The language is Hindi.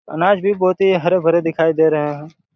अनाज भी बहुत ही हरे-भरे दिखाई दे रहे हैं।